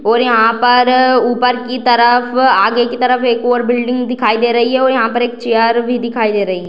और यहाँ पर अ अ ऊपर की तरफ आगे के तरफ एक और बिल्डिंग दिखाई दे रही है और यहाँ पर एक चेयर भी दिखाई दे रही है।